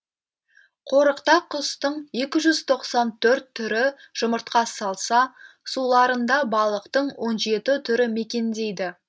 қорықта құстың түрі жұмыртқа салса суларында балықтың түрі мекендейді